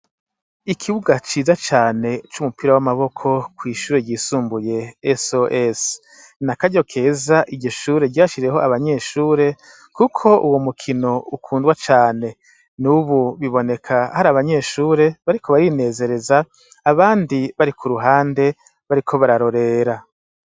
Ikibuga ciza cane c'umupira w'amaboko kw'ishure ryisumbuye SOS. Ni akaryo keza iryo shure ryashiriyeho abanyeshure kuko uwo mukino ukundwa cane. Nubu biboneka hari abanyeshure bariko barinezereza abandi bari ku ruhande bariko bararorera.